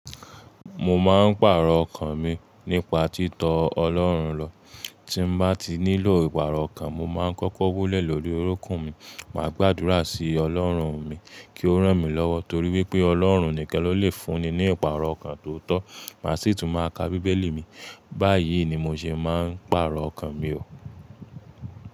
Mo máa ń pàrọ̀ ọkàn mi nípa títọ ọlọ́run lọ. Tí n bá ti nílò ìpàrọ̀ ọkàn, mo máa ń kọ́kọ́ wólẹ̀ lórí orúnkún mi, máa gbàdúrà sí ọlọ́run mi kí ó rán mi lọ́wọ́ torí wípé Ọlọ́run ni kan ló lè fún ni ní ìpàrọ̀ ọkàn tó tọ́. Màá sì tún máa ka Bíbélì mi. Báyìí ni mo ṣe máa ń pàrọ̀ ọkàn mi o.